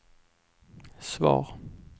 svar